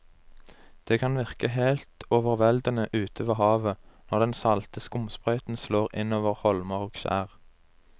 Det kan virke helt overveldende ute ved havet når den salte skumsprøyten slår innover holmer og skjær.